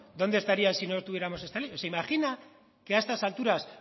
dónde estarían si no tuviéramos esta ley se imagina que a estas alturas